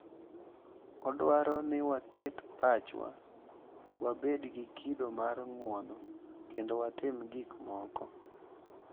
Odwaro ni waket pachwa, wabed gi kido mar ng’uono, kendo watim gik moko.